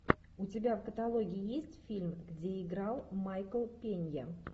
у тебя в каталоге есть фильм где играл майкл пенья